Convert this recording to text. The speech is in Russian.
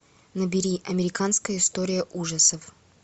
набери американская история ужасов